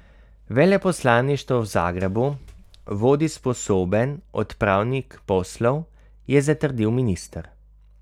Veleposlaništvo v Zagrebu vodi sposoben odpravnik poslov, je zatrdil minister.